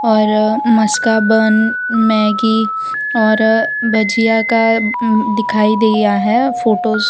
और maska bun Maggi और भजिया का दिखाई दिया है फोटोस ।